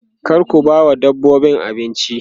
kar ku bawa dabbobin abinci